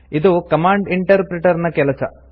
ಇದು command interpreter ನ ಕೆಲಸ